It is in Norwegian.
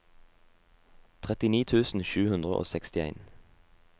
trettini tusen sju hundre og sekstien